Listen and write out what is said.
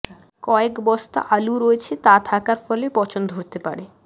কয়েক বস্তা আলু রয়েছে তা থাকার ফলে পচন ধরতে পারে